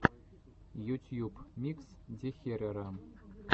ютьюб микс дехерера